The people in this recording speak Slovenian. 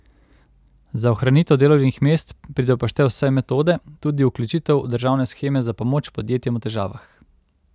Za ohranitev delovnih mest pridejo v poštev vse metode, tudi vključitev v državne sheme za pomoč podjetjem v težavah.